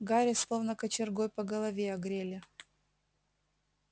гарри словно кочергой по голове огрели